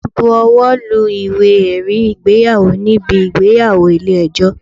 A máa bu owó lu Ìwé ẹ̀rí ìgbéyàwó níbi ìgbéyàwó ilé ẹjọ́.